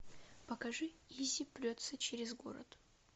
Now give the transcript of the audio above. покажи иззи прется через город